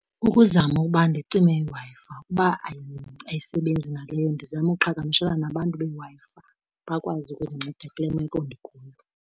Kukuzama uba ndicime iWi-Fi, ukuba ayisebenzi naleyo ndizame uqhagamshelana nabantu beWi-Fi bakwazi ukundinceda kule meko ndikuyo.